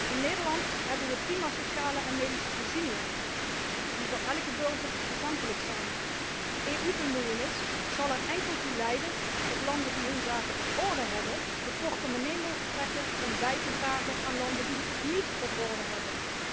In Nederland hebben we prima sociale en medische voorzieningen die voor elke burger toegankelijk zijn. EU bemoeienis zal er enkel toe leiden dat landen die hun zaken op orde hebben de portemonnee mogen trekken om bij te dragen aan landen die hun zaken niet op orde hebben.